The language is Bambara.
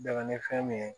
Dɛmɛ ni fɛn min ye